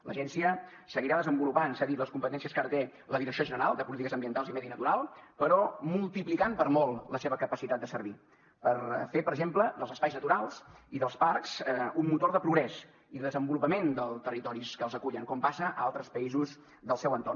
l’agència seguirà desenvolupant s’ha dit les competències que ara té la direcció general de polítiques ambientals i medi natural però multiplicant per molt la seva capacitat de servir per fer per exemple dels espais naturals i dels parcs un motor de progrés i de desenvolupament dels territoris que els acullen com passa a altres països del seu entorn